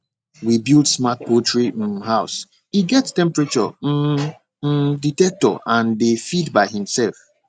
we build smart poultry um house e get temperature um um dectector and dey feed by himself